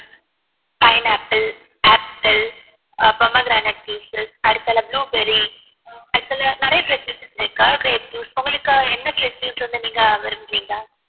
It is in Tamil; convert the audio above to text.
pineapple apple pomegranate juices அடுத்து blueberry அதுல நிறைய fresh juices இருக்கு grape juice உங்களுக்கு எந்த fresh juice வந்து நீங்க விரும்புரிங்க